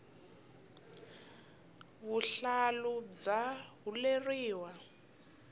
vuhlalu bya huleriwa